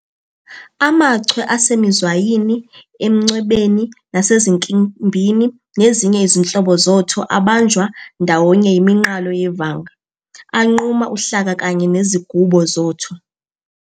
AmaChwe asemizwayini, emncwebeni, nasezinkimbini nezinye izinhlobo zoTho abanjwa ndawonye yiminqalo yevanga, anquma uhlaka kanye nezigubo zoTho.